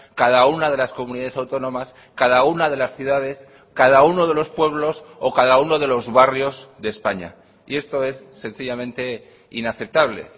cada una de las comunidades autónomas cada una de las ciudades cada uno de los pueblos o cada uno de los barrios de españa y esto es sencillamente inaceptable